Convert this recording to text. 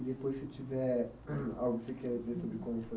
E depois, se tiver algo que você queira dizer sobre como foi